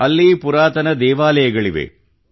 ಅಲ್ಲಿ ಪುರಾತನ ದೇವಾಲಯಗಳಿವೆ